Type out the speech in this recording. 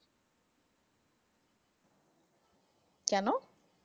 কেনো?